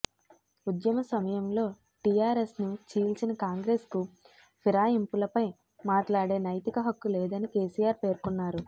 ఉద్యమసమయంలో టిఆర్ఎస్ను చీల్చిన కాంగ్రెస్కు ఫిరాయింపులపై మాట్లాడే నైతిక హక్కు లేదని కెసిఆర్ పేర్కొన్నారు